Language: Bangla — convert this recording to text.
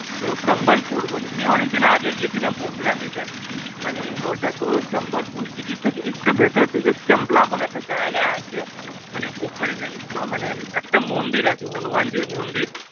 তোর সম্বলপুর বলে সে অনেক দিন আগে গেছিলাম বন্ধুরা মিলে মানে ওটা তোর সম্বলপুর City থেকে একটু ভিতর দিকে চাম্বালা বলে একটা জায়গা আছে মানে ওখানে জানিস তো মানে একটা মন্দির আছে হনুমান জীর মন্দীর